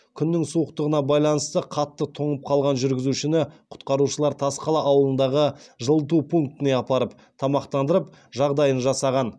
күннің суықтығына байланысты қатты тоңып қалған жүргізушіні құтқарушылар тасқала ауылындағы жылыту пунктіне апарып тамақтандырып жағдайын жасаған